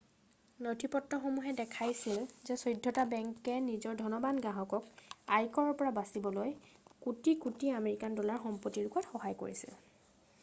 নথিপত্ৰসমূহে দেখাইছিল যে চৈধটা বেংকে নিজৰ ধনবান গ্ৰাহকক আয়কৰৰ পৰা বচাবলৈ কোটি কোটি আমেৰিকান ডলাৰৰ সম্পত্তি লুকোৱাত সহায় কৰিছিল